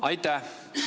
Aitäh!